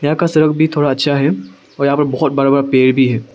यहां का सड़क भी थोड़ा अच्छा है और यहां पर बहोत बड़ा बड़ा पेड़ भी हैं।